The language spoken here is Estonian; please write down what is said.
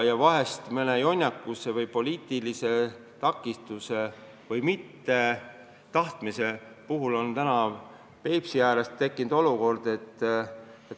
Vahest just kellegi jonnakuse või poliitilise mittetahtmise tõttu on Peipsi ääres tekkinud kummaline olukord.